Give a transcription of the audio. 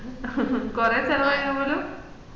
ഹും കൊറേ ചെലവയ്ന് പോലും